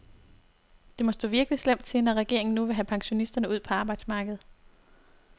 Det må stå virkelig slemt til, når regeringen nu vil have pensionisterne ud på arbejdsmarkedet.